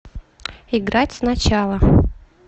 играть сначала